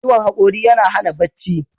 Ciwon haƙori yana hana bacci.